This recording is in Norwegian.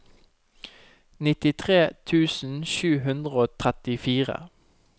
nittitre tusen sju hundre og trettifire